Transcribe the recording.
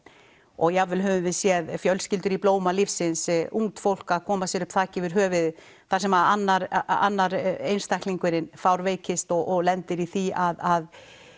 og jafn vel höfum við séð fjölskyldur í blóma lífsins ungt fólk að koma sér upp þaki yfir höfuðið þar sem annar annar einstaklingurinn fárveikist og lendir í því að